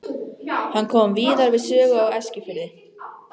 Hann kom víðar við sögu á Eskifirði.